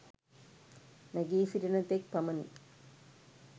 නැගී සිටින තෙක් පමණි.